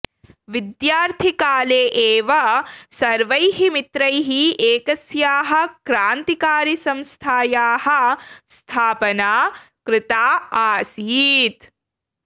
विद्यार्थिकाले एव सर्वैः मित्रैः एकस्याः क्रान्तिकारिसंस्थायाः स्थापना कृता आसीत्